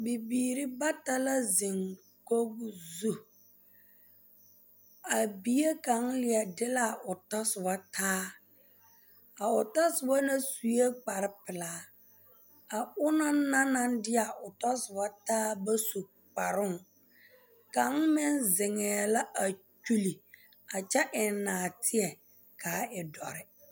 Bibiiri bata la zeŋ kogri zu a bie kaŋa leɛ de la o tɔ soɔ taa a o tɔsoba na sue kparepelaa a ona naŋ de a o tɔsoba bontaa ba su kparoo kaŋ meŋ zeŋɛɛ la a kyuli a kyɛ eŋ naateɛ ka a e dɔre.